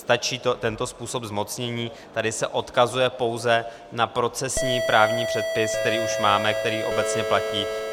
Stačí tento způsob zmocnění, tady se odkazuje pouze na procesní právní předpis, který už máme, který obecně platí.